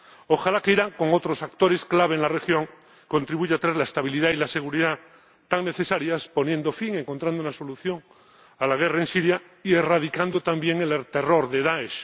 Ojalá que Irán, junto con otros actores clave en la región, contribuya a traer la estabilidad y la seguridad tan necesarias, poniendo fin, encontrando una solución a la guerra en Siria y erradicando también el terror de Daesh.